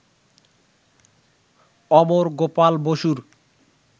অমর গোপাল বসুর